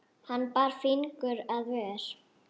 Hann bar fingur að vör.